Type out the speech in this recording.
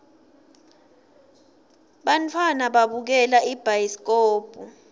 bantfwana babukela ibhayiskobhu